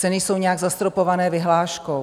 Ceny jsou nějak zastropované vyhláškou.